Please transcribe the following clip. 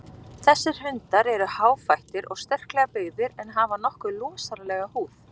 Þessir hundar eru háfættir og sterklega byggðir en hafa nokkuð losaralega húð.